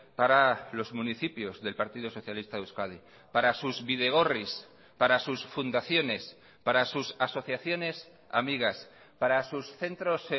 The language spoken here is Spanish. para los municipios del partido socialista de euskadi para sus bidegorris para sus fundaciones para sus asociaciones amigas para sus centros